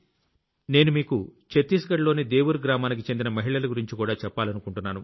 నేను మీకు చత్తీస్ ఘడ్ లోని దేవుర్ గ్రామానికి చెందిన మహిళల గురించి కూడా చెప్పాలనుకుంటున్నాను